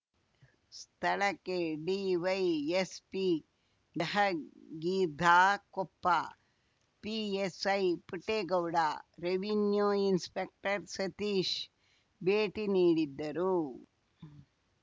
ಸ್ಥಳಕ್ಕೆ DYSP Jahagirdar Koppa PSI Puttegowda revenue inspector Satish ಭೇಟಿ ನೀಡಿದ್ದರು